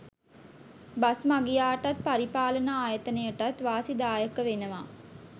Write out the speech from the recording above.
Bus මගියාටත් පරිපාලන ආයතනයටත් වාසිදායක වෙනවා.